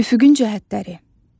Üfüqün cəhətləri.